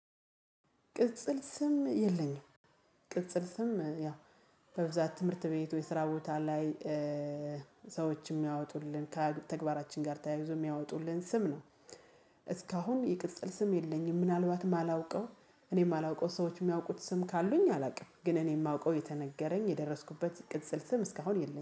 ቅጽል ስም የለኝም። ቅጽል ስም ያው በብዛት ትምህርት ቤት ወይ የስራ ቦታ ላይ። ሰዎች እሚያወጡልን ከተግባራችን ጋር ተያይዞ የሚያወጡልን ስም ነው። እስካሁን የቅጽል ስም የለኝም። ምናልባት የማላውቀው እኔ የማላውቀው ሰዎች የሚያውቁት ስም ካሉኝ አላውቅም። ግን እኔ የማውቀው የተነገረኝ የደረስኩበት ቅጽል ስም እስካሁን የለኝም